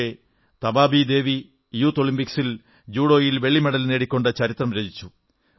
പക്ഷേ തബാബീ ദേവി യൂത്ത് ഒളിമ്പിക്സിൽ ജൂഡോയിൽ വെള്ളി മെഡൽ നേടിക്കൊണ്ട് ചരിത്രം രചിച്ചു